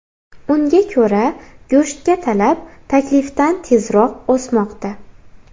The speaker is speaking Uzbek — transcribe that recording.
Unga ko‘ra, go‘shtga talab taklifdan tezroq o‘smoqda.